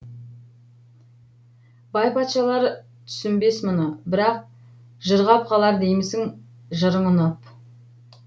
байпатшалар түсінбес мұны бірақ жырғап қалар деймісің жырың ұнап